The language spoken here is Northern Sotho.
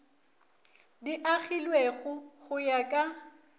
di agilwego go ya ka